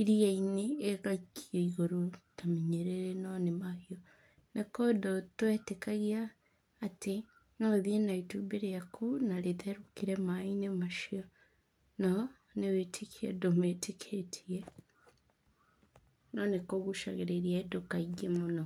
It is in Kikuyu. ĩriya-inĩ ĩgaikio igũrũ ta mĩnyĩrĩrĩ no nĩ mahiũ. Nĩ kũndũ twetĩkagia atĩ no ũthĩ na itumbĩ rĩaku na rĩtherũkĩre maĩ-inĩ macio, no nĩ wĩtĩkio andũ metĩkĩtie, no nĩ kũgucagĩrĩria andũ kaingĩ mũno.